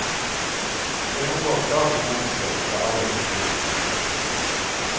Jeg omgås stadig mennesker fra alle kulturer.